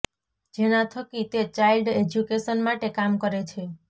જેના થકી તે ચાઈલ્ડ એજ્યુકેશન માટે કામ કરે છે